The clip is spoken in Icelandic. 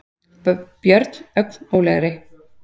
björn, ögn rólegri.